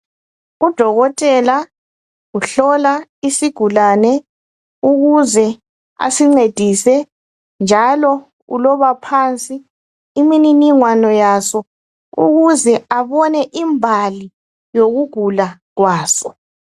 Udokotela uhlola isigulane ukuze asincedise njalo uloba phansi imininingwano yaso ukuze abone imbali yokugula kwaso